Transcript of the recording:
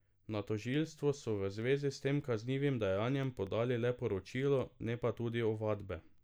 Na tožilstvo so v zvezi s tem kaznivim dejanjem podali le poročilo, ne pa tudi ovadbe.